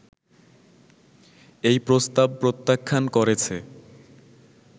এই প্রস্তাব প্রত্যাখ্যান করেছে